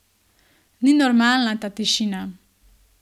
Ni normalna, ta tišina.